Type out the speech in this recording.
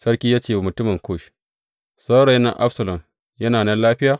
Sarki ya ce wa mutumin Kush, Saurayin nan Absalom, yana nan lafiya?